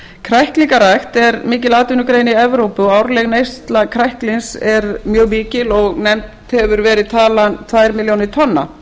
kræklingarækt er mikil atvinnugrein í evrópu árleg neysla kræklings er mjög mikil og nefnd hefur verið talan tvær milljónir tonna